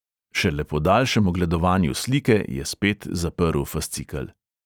Šele po daljšem ogledovanju slike je spet zaprl fascikel.